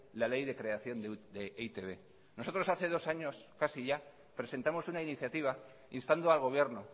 la ley de creación de e i te be nosotros hace dos años casi ya presentamos una iniciativa instando al gobierno